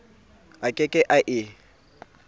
a ke ke a e